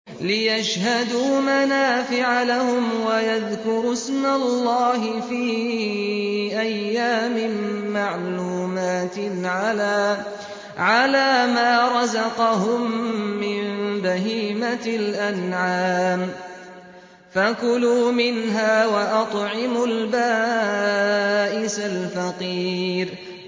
لِّيَشْهَدُوا مَنَافِعَ لَهُمْ وَيَذْكُرُوا اسْمَ اللَّهِ فِي أَيَّامٍ مَّعْلُومَاتٍ عَلَىٰ مَا رَزَقَهُم مِّن بَهِيمَةِ الْأَنْعَامِ ۖ فَكُلُوا مِنْهَا وَأَطْعِمُوا الْبَائِسَ الْفَقِيرَ